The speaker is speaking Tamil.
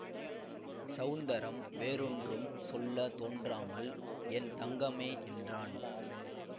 ஸௌந்தரம் வேறொன்றும் சொல்ல தோன்றாமல் என் தங்கமே என்றான்